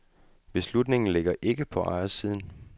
Beslutningen ligger ikke på ejersiden.